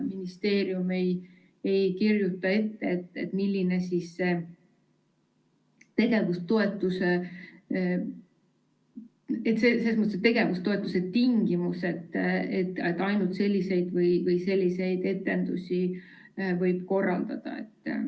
Ministeerium ei kirjuta ette, millised on tegevustoetuse tingimused, näiteks milliseid etendusi võib korraldada.